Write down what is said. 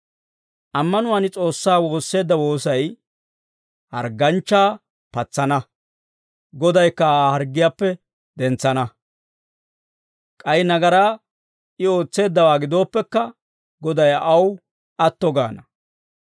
Ammanuwaan S'oossaa woosseedda woosay hargganchchaa patsana; Godaykka Aa harggiyaappe dentsana; k'ay nagaraa I ootseeddawaa gidooppekka Goday aw atto gaana.